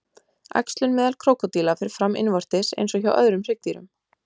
Æxlun meðal krókódíla fer fram innvortis eins og hjá öðrum hryggdýrum.